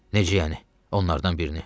Necə yəni, onlardan birini?